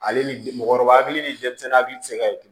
Ale ni mɔgɔkɔrɔba hakili ni denmisɛnnin hakili tɛ se ka ye